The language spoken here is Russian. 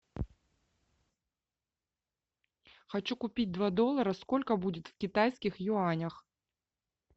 хочу купить два доллара сколько будет в китайских юанях